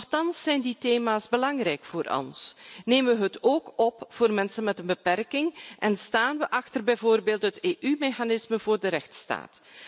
Nochtans zijn die thema's belangrijk voor ons, nemen we het ook op voor mensen met een beperking en staan we achter bijvoorbeeld het EU mechanisme voor de rechtsstaat.